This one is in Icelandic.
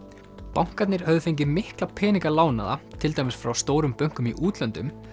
bankarnir höfðu fengið mikla peninga lánaða til dæmis frá stórum bönkum í útlöndum